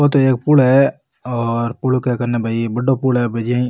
वो तो एक पूल है और पूल कन्ने भई बड़ो पूल है --